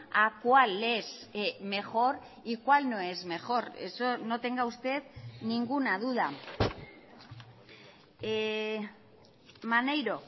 a cuál es mejor y cuál no es mejor eso no tenga usted ninguna duda maneiro